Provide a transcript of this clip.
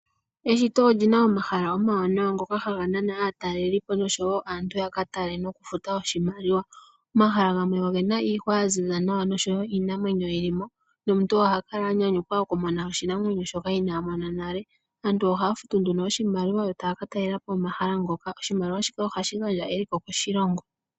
Eshito olina omahala omawanawa ngoka haga nana aatalelipo nosho woo aantu yaka tale nokufuta oshimaliwa. Omahala gamwe ogena iihwa yaziza nawa nosho woo iinamwenyo yili mo nomuntu oha kala anyanyukwa okumona oshinamwenyo shoka ina mona nale. Aantu ohaya futu nduno oshimaliwa yo taya katalelapo omahala ngoka oshimaliwa shino ohashi gandja eliko koshilong.